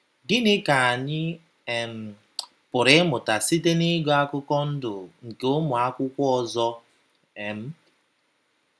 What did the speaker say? Gịnị ka anyị um pụrụ ịmụta site n’ịgụ akụkọ ndụ nke ụmụ akwụkwọ ọzọ um?